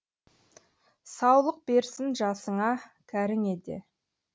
саулық берсін жасыңа кәріңе де